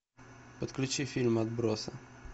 подключи фильм отбросы